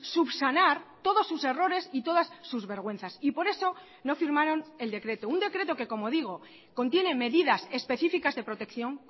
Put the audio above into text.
subsanar todos sus errores y todas sus vergüenzas y por eso no firmaron el decreto un decreto que como digo contiene medidas específicas de protección